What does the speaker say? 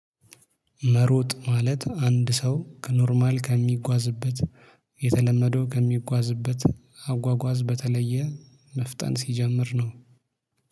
መሮጥ ማለት አንድ ሰው ከኖርማል ከሚጓዝበት የተለመደው ከሚጓዝበት አጓጓዝ በተለየ መፍጠን ሲጀምር ነው